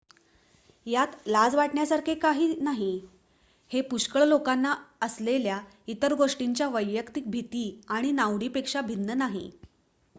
यात लाज वाटण्यासारखे काही नाही हे पुष्कळ लोकांना असलेल्या इतर गोष्टींच्या वैयक्तिक भीती आणि नावडींपेक्षा भिन्न नाही